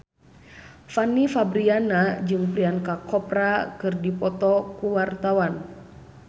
Fanny Fabriana jeung Priyanka Chopra keur dipoto ku wartawan